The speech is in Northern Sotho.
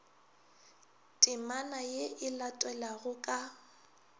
temana ye e latelago ka